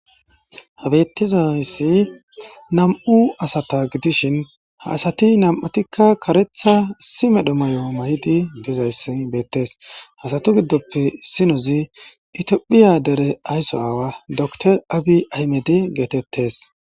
Ha beetizayssi nam'u asata gidishin ha asati nam'atikka kareththa issi medho mayo mayidi dizayssi beettees ha asatu giddoppe issinozi Itophphiya dere aysso aawa dokter Abiy ahimede getetes.